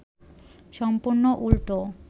সম্পূর্ন উল্টো